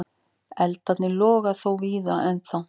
Eldarnir loga þó víða ennþá.